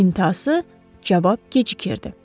İntası cavab gecikirdi.